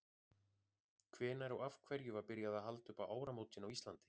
hvenær og af hverju var byrjað að halda upp á áramótin á íslandi